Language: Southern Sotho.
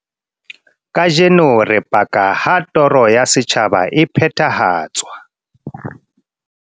"Kajeno re paka ha toro ya setjhaba e phethahatswa."